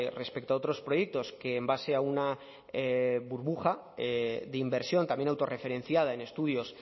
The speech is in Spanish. respecto a otros proyectos que en base a una burbuja de inversión también autorreferenciada en estudios